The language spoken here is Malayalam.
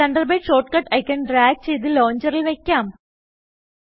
തണ്ടർബേർഡ് ഷോർട്ട്കട്ട് ഐക്കൺ ഡ്രാഗ് ചെയ്ത് ലോഞ്ചറിൽ വയ്ക്കാം